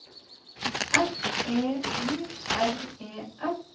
F E I R E S